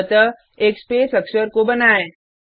अतः एक स्पेस अक्षर का बनाएँ